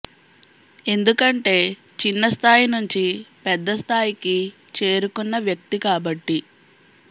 ఎందుకంటే చిన్న స్థాయి నుంచి పెద్ద స్థాయికి చేరుకున్న వ్యక్తి కాబట్టి